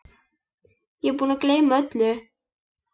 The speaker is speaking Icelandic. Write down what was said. Ég er búinn að gleyma öllu!